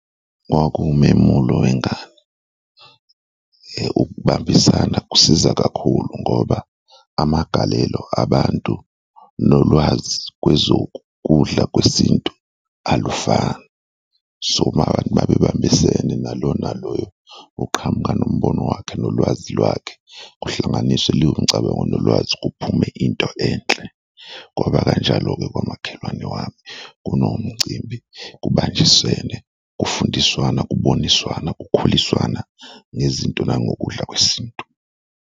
Kwaku umemulo wengane. Ukubambisana kusiza kakhulu ngoba amagalelo abantu nolwazi kwezokudla kwesintu alufani so abantu mabebambisene nalo na loyo uqhamuka nombono wakhe nolwazi lwakhe kuhlanganiswe lewo micabango nolwazi kuphume into enhle. Kwaba kanjalo-ke kwamakhelwane wami kunomcimbi, kubanjiswene, kufundiswana, kuboniswana, kukhuliswana ngezinto nangokudla kwesintu.